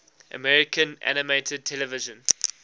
american animated television